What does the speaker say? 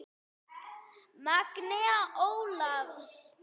Magnea Ólafs.